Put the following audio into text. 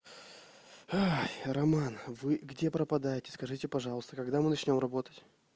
ой роман вы где пропадаете скажите пожалуйста когда мы начнём работать